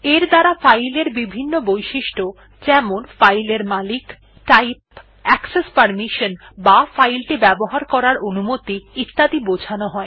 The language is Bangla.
এর দ্বারা ফাইল এর বিভিন্ন বৈশিষ্ট্য যেমন ফাইল এর মালিক টাইপ অ্যাকসেস পারমিশনসহ বা ফাইল টি ব্যবহার করার অনুমতি ইত্যাদি বোঝানো হয়